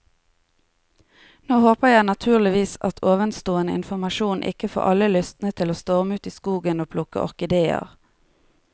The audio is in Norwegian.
Nå håper jeg naturligvis at ovenstående informasjon ikke får alle lystne til å storme ut i skogen og plukke orkideer.